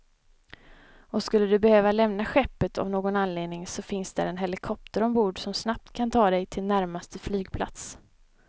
Och skulle du behöva lämna skeppet av någon anledning så finns där en helikopter ombord, som snabbt kan ta dig till närmsta flygplats.